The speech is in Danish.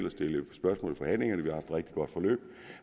og stillet spørgsmål i forhandlingerne vi rigtig godt forløb